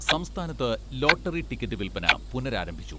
സംസ്ഥാനത്ത് lottery ticket വിൽപ്പന പുനരാരംഭിച്ചു.